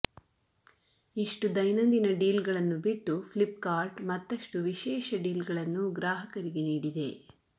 ಇಷ್ಟು ದೈನಂದಿನ ಡೀಲ್ಗಳನ್ನು ಬಿಟ್ಟು ಫ್ಲಿಪ್ಕಾರ್ಟ್ ಮತ್ತಷ್ಟು ವಿಶೇಷ ಡೀಲ್ಗಳನ್ನು ಗ್ರಾಹಕರಿಗೆ ನೀಡಿದೆ